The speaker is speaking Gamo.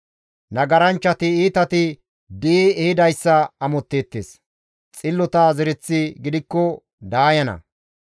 Nagaranchchati iitati di7i ehidayssa amotteettes; xillota zereththi gidikko daayana.